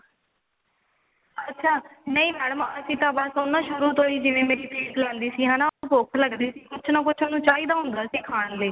ਅੱਛਾ ਨਹੀ madam ਅਸੀਂ ਤਾਂ ਬਸ ਉਹਨੂੰ ਸ਼ੁਰੂ ਤੋਂ ਹੀ ਜਿਵੇਂ ਮੈਂ ਕਿਤੇ ਜਾਂਦੀ ਸੀ ਉਹਨੂੰ ਭੁੱਖ ਲੱਗਦੀ ਸੀ ਹਨਾ ਕੁੱਝ ਨਾ ਕੁੱਝ ਉਹਨੂੰ ਚਾਹੀਦਾ ਹੁੰਦਾ ਸੀ ਖਾਣ ਲਈ